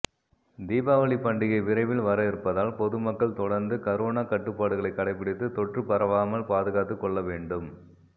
தீபாவளிப் பண்டிகை விரைவில் வர இருப்பதால் பொதுமக்கள் தொடா்ந்து கரோனா கட்டுப்பாடுகளை கடைப்பிடித்து தொற்று பரவாமல் பாதுகாத்துக் கொள்ள வேண்டும்